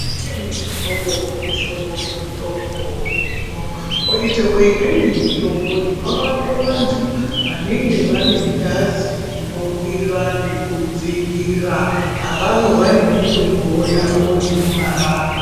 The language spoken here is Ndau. Kune mihlobo nemihlobo yemitombo iriyo kwoitawo imweni mitombo inorape vantu vanenge vane ngazi inokwira nekudzikira, avavo vane mitombowo yavo inovarapa.